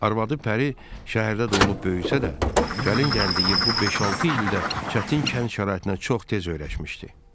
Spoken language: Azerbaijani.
Arvadı Pəri şəhərdə doğulub böyüsə də, gəlin gəldiyi bu beş-altı ildə çətin kənd şəraitinə çox tez öyrəşmişdi.